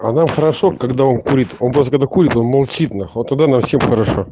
а нам хорошо когда он курит он просто когда курит он молчит нахуй вот тогда нам всем хорошо